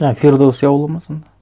а фирдоуси ауылы ма сонда